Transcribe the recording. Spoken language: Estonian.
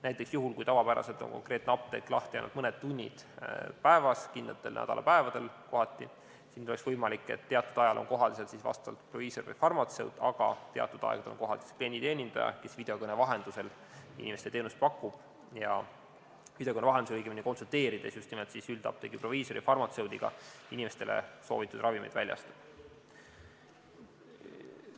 Näiteks, juhul, kui tavapäraselt on konkreetne apteek lahti ainult mõned tunnid päevas, kindlatel nädalapäevadel kohati, siis nüüd oleks võimalik, et teatud ajal on kohal vastavalt proviisor või farmatseut, aga teatud aegadel on kohal klienditeenindaja, kes videokõne vahendusel inimestele teenust pakub, õigemini videokõne vahendusel konsulteerides just nimelt üldapteegi proviisori või farmatseudiga inimestele soovitud ravimeid väljastab.